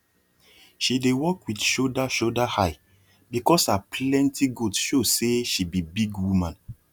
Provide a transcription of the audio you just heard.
she dey walk with shoulder shoulder high because her plenty goat show say she be big woman